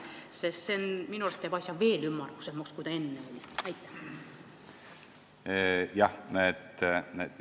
See teeb minu arust asja veel ümmargusemaks, kui ta enne oli.